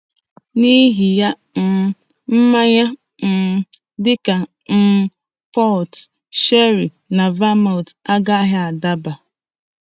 N'ihi ya, um mmanya um dị ka um port, sherry, na vermouth agaghị adaba.